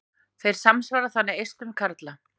Þeir samsvara þannig eistum karla.